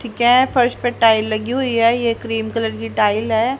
ठीक है फर्श पे टाइल लगी हुई है ये क्रीम कलर की टाइल है।